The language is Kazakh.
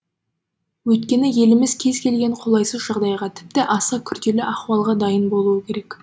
өйткені еліміз кез елген қолайсыз жағдайға тіпті аса күрделі ахуалға дайын болуы керек